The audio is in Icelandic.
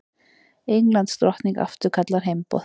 Englandsdrottning afturkallar heimboð